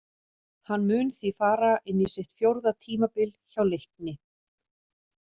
Hann mun því fara inn í sitt fjórða tímabil hjá Leikni.